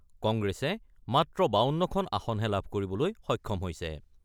কংগ্ৰেছে মাত্ৰ ৫২খন আসনহে লাভ কৰিবলৈ সক্ষম হৈছে।